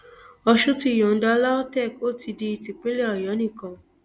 ọsùn ti yọǹda lautech ó ti di típínlẹ ọyọ nìkan